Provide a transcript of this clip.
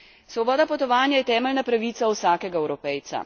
Svoboda potovanja je temeljna pravica vsakega Evropejca.